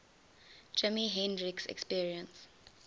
jimi hendrix experience